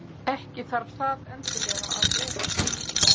Ekki þarf það endilega að vera.